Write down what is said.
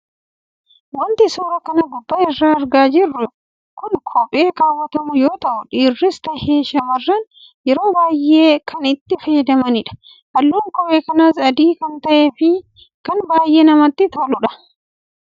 Waanti suura kana gubbaa irraa argaa jirru kun kophee kaawwatamu yoo tahu dhiirris tahee shammarranni yeroo baayee kan itti fayyadamanidha. Halluun kophee kanaas adii kan tahee fi kan baayee namatti toludha.